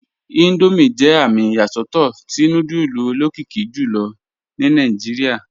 Indomie jẹ amì iyasọtọ̀tọ́ tí núdùlù olokìkì jùlọ̀ ní Nàìjíríà